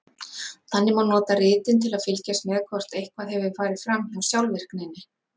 Þannig má nota ritin til að fylgjast með hvort eitthvað hefur farið fram hjá sjálfvirkninni.